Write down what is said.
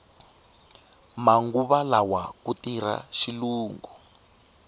manguva lawa ku firha xilungu